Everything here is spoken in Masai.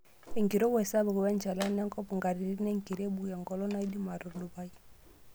Enkirowuaj sapuk wenchalan enkop, nkatitin enkirebuk enkolong' naaidim aitudupai.